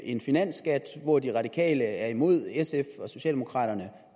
en finansskat hvor de radikale er imod og sf og socialdemokraterne